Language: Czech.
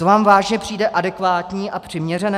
To vám vážně přijde adekvátní a přiměřené?